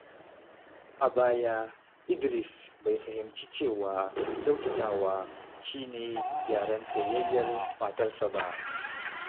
A baya, Idris bai fahimci cewa kyautatawa shi ne yaren soyayyar matarsa ba.